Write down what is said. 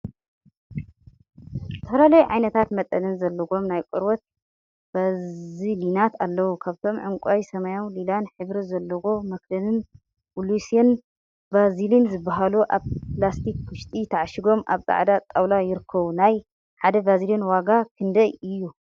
ዝተፈላለዩ ዓይነትን መጠንን ዘለዎም ናይ ቆርበት ቫዝሊናት አለው፡፡ ካብአቶም ዕንቋይ፣ ሰማያዊን ሊላን ሕብሪ ዘለዎ መክደን ብሉሴል ቫዝሊን ዝበሃሉ አብ ላስቲክ ውሽጢ ተዓሺጎም አብ ፃዕዳ ጣውላ ይርከቡ፡፡ ናይ ሓደ ቫዝሊን ዋጋ ክንደይ እዩ?